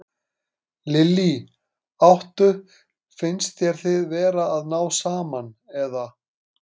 Lillý: Áttu, finnst þér þið vera að ná saman, eða?